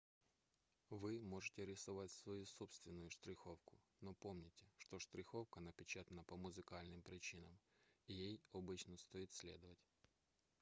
вы можете рисовать свою собственную штриховку но помните что штриховка напечатана по музыкальным причинам и ей обычно стоит следовать